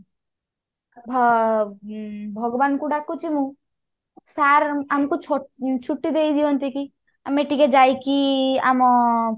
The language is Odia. ଭ ଉଁ ଭଗବାନ ଙ୍କୁ ଡାକୁଛି ମୁଁ sir ଆମକୁ ଛୋ ଛୁଟି ଦେଇଦିଅନ୍ତେ କି ଆମେ ଟିକେ ଯାଇକି ଆମ